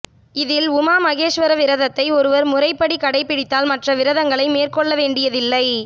இதில் உமா மகேஸ்வர விரதத்தை ஒருவர் முறைப்படி கடைபிடித்தால் மற்ற விரதங்களை மேற்கொள்ள வேண்டியதில்லை